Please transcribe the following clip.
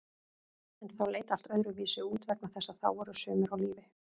En þá leit allt öðruvísi út vegna þess að þá voru sumir á lífi.